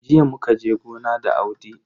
Jiya muka je gona da Audi.